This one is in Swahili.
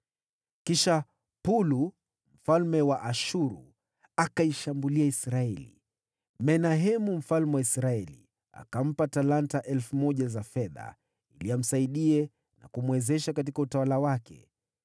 Kisha Pulu mfalme wa Ashuru akaishambulia Israeli. Menahemu mfalme wa Israeli akampa talanta elfu moja za fedha ili amsaidie na kumwezesha katika utawala wake.